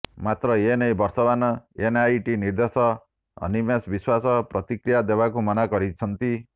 ମାତ୍ର ଏ ନେଇ ବର୍ତ୍ତମାନର ଏନ୍ଆଇଟି ନିର୍ଦ୍ଦେଶ ଅନିମେଶ ବିଶ୍ୱାସ ପ୍ରତିକ୍ରିୟା ଦେବାକୁ ମନା କରିଛନ୍ତି